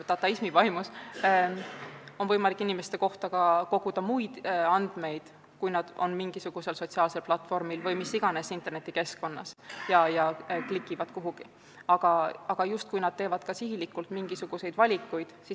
Dataismi vaimus on võimalik inimeste kohta koguda ka muid andmeid, kui nad on mingisugusel sotsiaalsel platvormil või mis iganes internetikeskkonnas ja klikivad kuhugi.